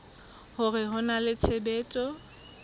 hore ho na le tshebetso